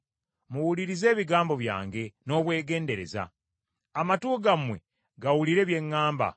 Muwulirize ebigambo byange n’obwegendereza; amatu gammwe gawulire bye ŋŋamba.